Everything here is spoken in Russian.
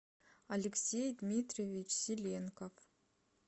алексей дмитриевич селенков